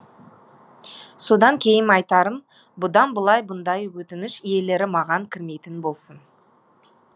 содан кейін айтарым бұдан былай бұндай өтініш иелері маған кірмейтін болсын